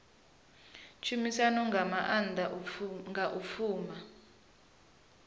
tshumisano zwa maanḓa nga u pfana